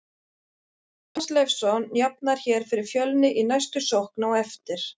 Tómas Leifsson jafnar hér fyrir Fjölni í næstu sókn á eftir!!